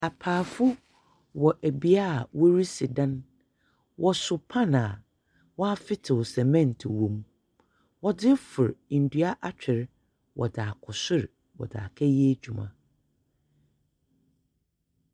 Apaafo wɔ bea a wɔresi dan. Wɔso pan a wɔafetew cement wom. Wɔdze refor ndua atwer wɔdze akɔ sor, wɔdze akɛyɛ edwuma.